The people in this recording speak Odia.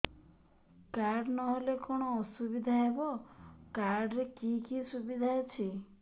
କାର୍ଡ ନହେଲେ କଣ ଅସୁବିଧା ହେବ କାର୍ଡ ରେ କି କି ସୁବିଧା ଅଛି